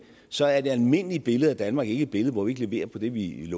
så er det almindelige billede af danmark ikke et billede hvor vi ikke leverer på det vi